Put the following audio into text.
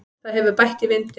Það hefur bætt í vindinn.